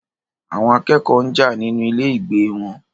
Àwọn akẹ́kọ̀ọ́ náà jà nínú ilé ìgbé wọn.